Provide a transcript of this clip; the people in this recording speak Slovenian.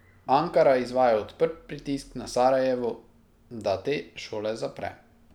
Ankara izvaja odprt pritisk na Sarajevo, da te šole zapre.